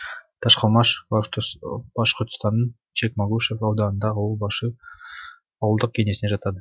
ташкалмаш башқұртстанның чекмагушев ауданындағы ауыл башир ауылдық кеңесіне жатады